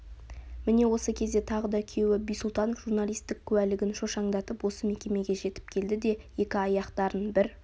міне осы кезде тағы да күйеуі бисұлтанов журналисттік куәлігін шошаңдатып осы мекемеге жетіп келді де екі аяқтарын бір